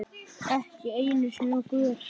Ekki einu sinni á götu.